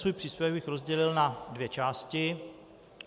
Svůj příspěvek bych rozdělil na dvě části.